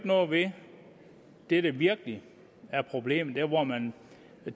noget ved det der virkelig er problemet der hvor man